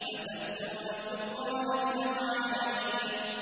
أَتَأْتُونَ الذُّكْرَانَ مِنَ الْعَالَمِينَ